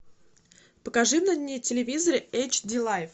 покажи на телевизоре эйч ди лайф